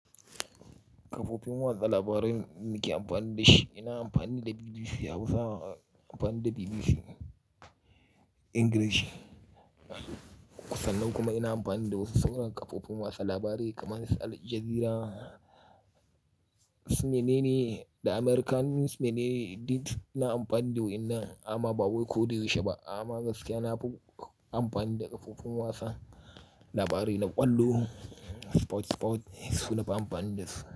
Kafofin watsa labarai nake amfani da shi, ina amfani da BBC Hausa, amfani da BBC Ingilishi. Kusan nan kuma ina amfani da wasu sauran kafofin watsa labarai kamar Aljazeera, CNN, The American CNN, did ina amfani da wurin nan amma ba wai ko da yaushe ba. Amma gaskiya na bug-- amfani da kafofin watsa labarai na ƙwallo, sports sports su na amfani da su.